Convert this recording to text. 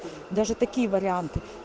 даже такие варианты